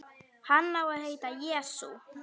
Hann á að heita Jesú.